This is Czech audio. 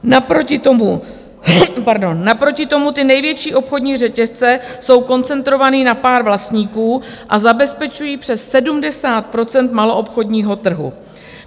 Naproti tomu ty největší obchodní řetězce jsou koncentrované na pár vlastníků a zabezpečují přes 70 % maloobchodního trhu.